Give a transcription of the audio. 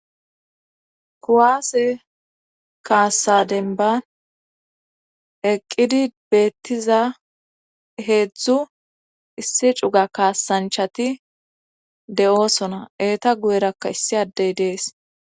kuwaase kaassa denban eqqidi beettiza heedzdzu issi cuga kaasanchati de7osona eeta guyerakka issi addey dees